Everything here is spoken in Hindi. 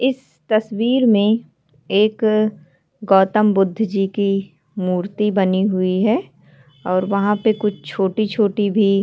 इस तस्वीर में एक गौतम बुद्ध जी की मूर्ति बनी हुई है और वहाँ पे कुछ छोटी छोटी भी --